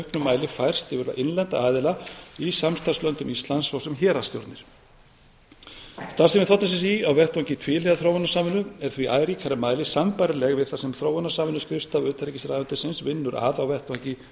mæli færst yfir á innlenda aðila í samstarfslöndum íslands svo sem héraðsstjórnir starfsemi þ s s í á vettvangi tvíhliða þróunarsamvinnu er því í æ ríkara mæli sambærileg við það sem þróunarsamvinnuskrifstofa utanríkisráðuneytisins vinnur að á vettvangi